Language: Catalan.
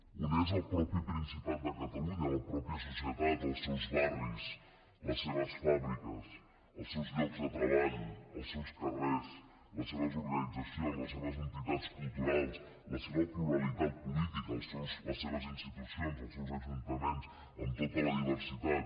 un és el mateix principat de catalunya la mateixa societat els seus barris les seves fàbriques els seus llocs de treball els seus carrers les seves organitzacions les seves entitats culturals la seva pluralitat política les seves institucions els seus ajuntaments amb tota la diversitat